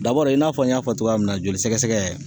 Dabɔri i n'a fɔ n y'a fɔ togoya min na joli sɛgɛsɛgɛ